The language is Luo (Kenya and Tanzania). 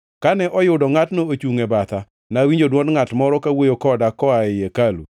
Kane oyudo ngʼatno ochungʼ e batha, nawinjo dwond ngʼat moro kawuoyo koda koa ei hekalu.